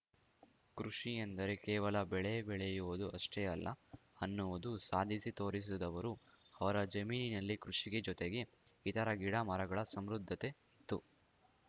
ಕೃಷಿ ಅಂದರೆ ಕೇವಲ ಬೆಳೆ ಬೆಳೆಯೋದು ಅಷ್ಟೆಅಲ್ಲ ಅನ್ನುವುದನ್ನು ಸಾಧಿಸಿ ತೋರಿಸಿದವರು ಅವರ ಜಮೀನಿನಲ್ಲಿ ಕೃಷಿಗೆ ಜೊತೆಗೆ ಇತರ ಗಿಡ ಮರಗಳ ಸಮೃದ್ಧತೆ ಇತ್ತು